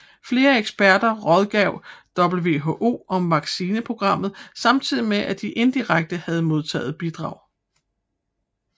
Flere eksperter rådgav WHO om vaccinationsprogrammet samtidig med at de indirekte havde modtaget bidrag